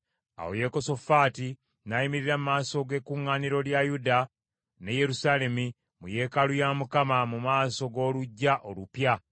Awo Yekosafaati n’ayimirira mu maaso g’ekkuŋŋaaniro lya Yuda ne Yerusaalemi, mu yeekaalu ya Mukama mu maaso g’oluggya olupya,